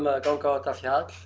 að ganga á þetta fjall